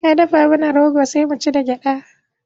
Na dafa mana rogo sai mu ci da gyaɗa.